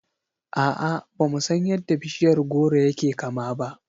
A'a, bamu san yadda bishiyar goro yake kama ba.